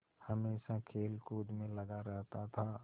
हमेशा खेलकूद में लगा रहता था